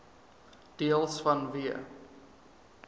deels vanweë